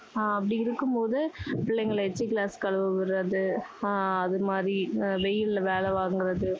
அஹ் அப்படி இருக்கும் போது, பிள்ளைங்களை எச்சில் glass கழுவ விடுறது, ஆஹ் அது மாதிரி வெயில்ல வேலை வாங்குறது,